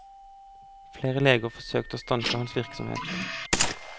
Flere leger forsøkte å stanse hans virksomhet.